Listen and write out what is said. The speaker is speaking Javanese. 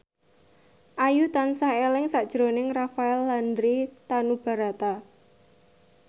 Ayu tansah eling sakjroning Rafael Landry Tanubrata